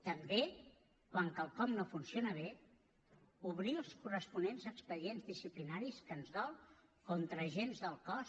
també quan quelcom no funciona bé obrir els corresponents expedients disciplinaris que ens dol contra agents del cos